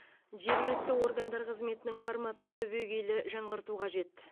жергілікті органдар қызметінің форматын түбегейлі жаңғырту қажет